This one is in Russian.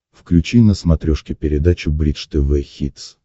включи на смотрешке передачу бридж тв хитс